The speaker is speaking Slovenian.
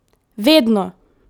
Vedno!